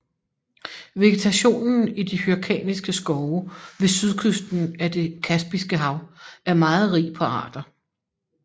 Vegetationen i de hyrkaniske skove ved sydkysten af Det Kaspiske hav er meget rig på arter